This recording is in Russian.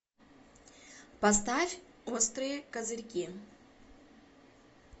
поставь острые козырьки